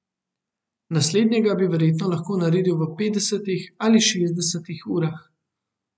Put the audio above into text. Naslednjega bi verjetno lahko naredil v petdesetih ali šestdesetih urah.